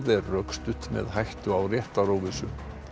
er rökstudd með hættu á réttaróvissu